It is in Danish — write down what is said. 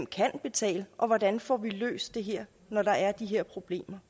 kan betale og hvordan vi får løst det her når der er de her problemer